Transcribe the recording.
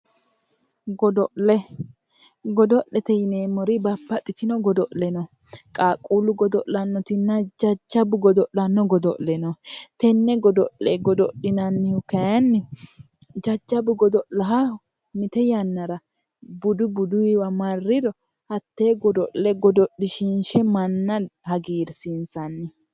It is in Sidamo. godo'le godo'lete yineemmoti babbaxxitino godo'le no qaaqquullu godo'lannoti no jajjabbu godo'lanno godo'le no tenne godo'le godo'linannihu kayinni jajjabbu godo'laata mite mite yannara buduyiwa marriro hattee godo'le godo'line manna hagiirsiinsanni